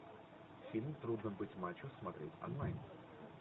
фильм трудно быть мачо смотреть онлайн